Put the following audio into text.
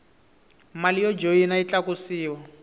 mali yo joyina yi tlakusiwa